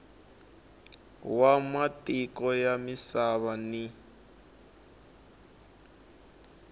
wa matiko ya misava ni